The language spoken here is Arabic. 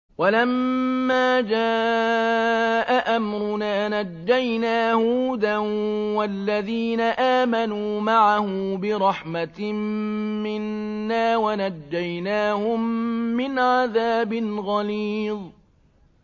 وَلَمَّا جَاءَ أَمْرُنَا نَجَّيْنَا هُودًا وَالَّذِينَ آمَنُوا مَعَهُ بِرَحْمَةٍ مِّنَّا وَنَجَّيْنَاهُم مِّنْ عَذَابٍ غَلِيظٍ